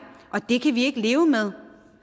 det kan vi ikke leve med